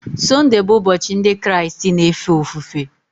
Sunday bụ ụbọchị ndị Kraịst na-efe ofufe